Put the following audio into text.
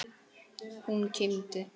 Hún kímdi.